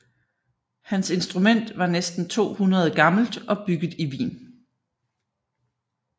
Hans instrument var næsten 200 gammelt og bygget i Wien